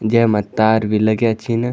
जैमा तार भी लग्याँ छिन।